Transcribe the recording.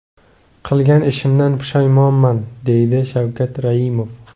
Qilgan ishimdan pushaymonman”, deydi Shavkat Raimov.